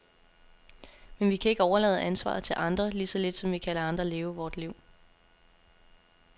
Men vi kan ikke overlade ansvaret til andre, lige så lidt som vi kan lade andre leve vort liv.